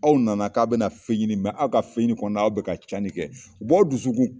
Aw nana K'a bɛna fɛn ɲini mɛ aw ka ɲini kɔnɔ aw bɛ ka cani kɛ. o dusu